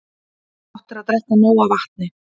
Gott er að drekka nóg af vatni.